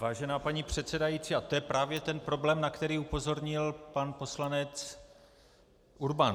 Vážená paní předsedající, a to je právě ten problém, na který upozornil pan poslanec Urban.